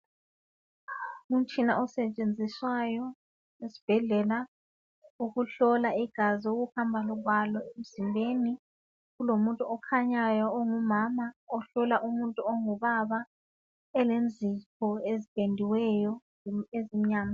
Umtshina osetshenziswayo esibhedlela ukuhlola igazi, ukuhamba kwalo emzimbeni. Kulomuntu okhanyayo ongumama ohlola umuntu ongubaba elenzipho ezipendiweyo kumbe ezimnyama.